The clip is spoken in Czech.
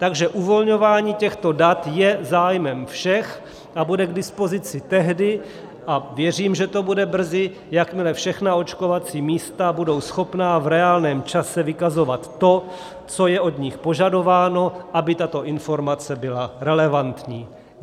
Takže uvolňování těchto dat je zájmem všech a bude k dispozici tehdy, a věřím, že to bude brzy, jakmile všechna očkovací místa budou schopna v reálném čase vykazovat to, co je od nich požadováno, aby tato informace byla relevantní.